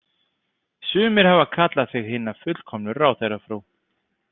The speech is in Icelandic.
Sumir hafa kallað þig hina fullkomnu ráðherrafrú.